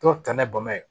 Dɔw ta ni bama ye